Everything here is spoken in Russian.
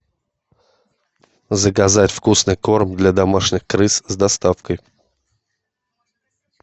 заказать вкусный корм для домашних крыс с доставкой